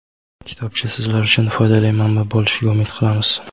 Kitobcha sizlar uchun foydali manba bo‘lishiga umid qilamiz.